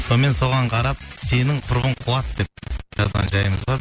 сонымен соған қарап сенің құрбың қуады деп жазған жайымыз бар